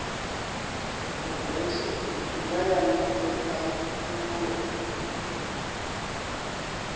khophorethivi ine ya ṋekedza nnḓu